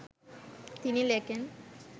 তিনি লেখেন